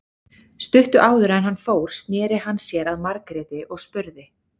Stuttu áður en hann fór sneri hann sér að Margréti og spurði